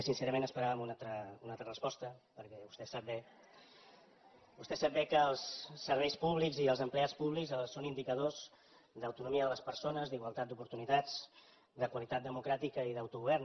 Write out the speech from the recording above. sincerament esperàvem una altra resposta perquè vostè sap bé que els serveis públics i els empleats públics són indicadors d’autonomia de les persones d’igualtat d’oportunitats de qualitat democràtica i d’autogovern